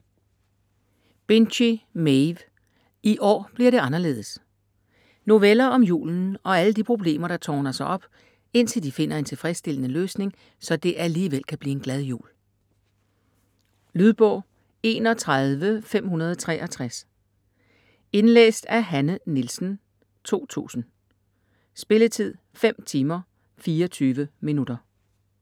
Binchy, Maeve: I år bliver det anderledes Noveller om julen og alle de problemer der tårner sig op, indtil de finder en tilfredsstillende løsning, så det alligevel kan blive en glad jul. Lydbog 31563 Indlæst af Hanne Nielsen, 2000. Spilletid: 5 timer, 24 minutter.